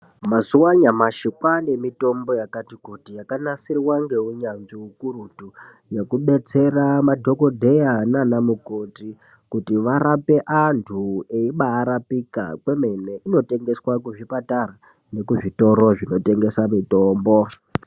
Mazuva anyamashi kwane mitombo yakati kuti yakanasirwa ngeunyanzvi ukurutu, yekubetsera madhogodheya nana mukoti kuti varape antu veiba rapika kwemene. Inotengeswa kuzvipatara nekuzvitoro zvinotengese mitombo.